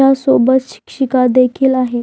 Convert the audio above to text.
च्या सोबत शिक्षिका देखील आहे.